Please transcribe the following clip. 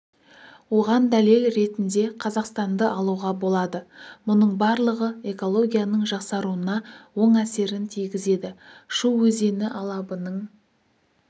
оған дәлел ретінде қазақстанды алуға болады мұның барлығы экологияның жақсаруына оң әсерін тигізеді шу өзені алабының